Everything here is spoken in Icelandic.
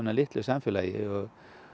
litlu samfélagi og